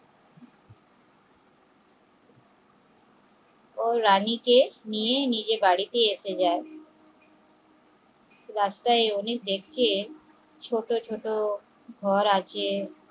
ও রানী কে নিয়ে নিজের বাড়িতে এসে যায় রাস্তায় অনেকে দেখে ছোট ছোট ঘর আছে